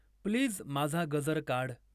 please माझा गजर काढ